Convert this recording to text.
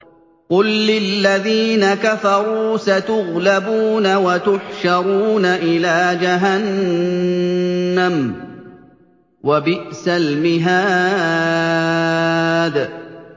قُل لِّلَّذِينَ كَفَرُوا سَتُغْلَبُونَ وَتُحْشَرُونَ إِلَىٰ جَهَنَّمَ ۚ وَبِئْسَ الْمِهَادُ